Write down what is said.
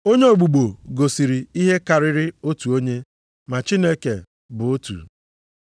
Onye ogbugbo gosiri ihe karịrị otu onye, ma Chineke bụ otu.